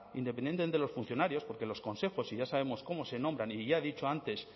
independientemente de los funcionarios porque los consejos y ya sabemos cómo se nombran y ya he dicho antes